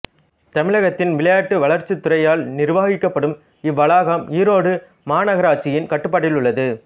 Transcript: தமிழகத்தின் விளையாட்டு வளர்ச்சித்துறையால் நிர்வாகிக்கப்படும் இவ்வளாகம் ஈரோடு மாநகராட்சியின் கட்டுப்பாட்டில் உள்ளது